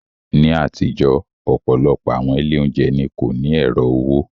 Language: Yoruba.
Ní àtijọ́, ọ̀pọ̀lọpọ̀ àwọn ilé oúnjẹ ni kò ní ẹ̀rọ owó.